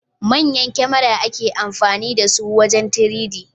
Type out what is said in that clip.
Manyan kamera ake amfani dasu wajen 3D